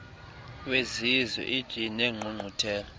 wezizwe oie neengqungquthela